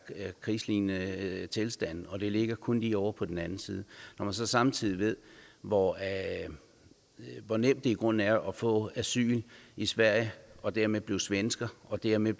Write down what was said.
krigslignende tilstande og det ligger kun lige ovre på den anden side når man så samtidig ved hvor hvor nemt det i grunden er at få asyl i sverige og dermed blive svensker og dermed